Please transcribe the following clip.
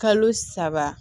Kalo saba